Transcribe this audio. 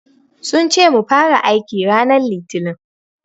Sun ce mu fara aiki ranar Litinin.